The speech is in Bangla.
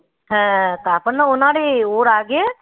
হ্যাঁ তারপর না না রে ওর আগে